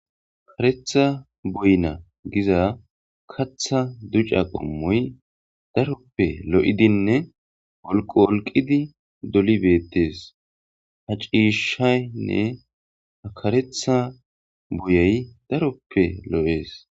Karetha boyna giza katha duca qommoy daroppe lo'idinne olqo wolqidi doli beettees ha ciishshaynne hakaretha boyey daroppe lo'ees.